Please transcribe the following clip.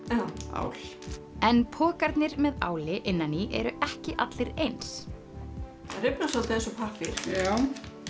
ál en pokarnir með áli innan í eru ekki allir eins það rifnar soldið eins og pappír já